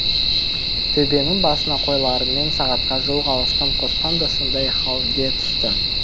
төбенің басына қойларымен сағатқа жуық алысқан қоспан да сондай халге түсті